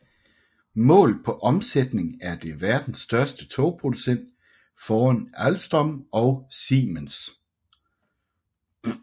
Målt på omsætning er det verdens største togproducent foran Alstom og Siemens